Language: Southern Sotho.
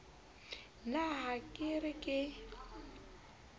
na ha ke re ke